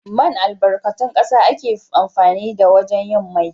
Man albarkatun ƙasa ake amfani da wajen yin mai